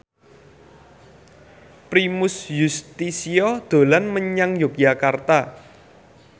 Primus Yustisio dolan menyang Yogyakarta